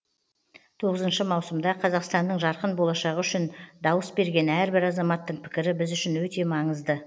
тоғызыншы маусымда қазақстанның жарқын болашағы үшін дауыс берген әрбір азаматтың пікірі біз үшін өте маңызды